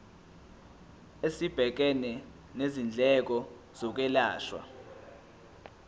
esibhekene nezindleko zokwelashwa